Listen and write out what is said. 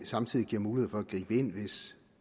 samtidig giver mulighed for at gribe ind hvis